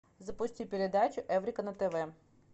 запусти передачу эврика на тв